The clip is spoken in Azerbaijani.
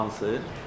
Hansı?